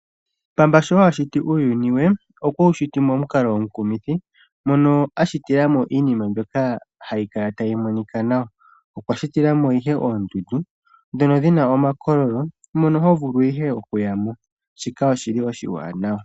Mpamba sho a shiti uuyuni we, okwe wu shiti momukalo omukumithi mono a shitila mo iinima mbyoka hayi kala tayi monika nawa. Okwa shitila mo ihe oondundu ndhono dhi na omakololo mono ho vulu ihe oku yamo. Shika oshili oshiwanawa.